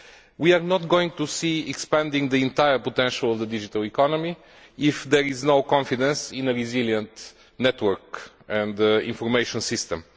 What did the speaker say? We are not going to see expansion of the entire potential of the digital economy if there is no confidence in a resilient network and information system.